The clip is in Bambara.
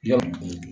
Yan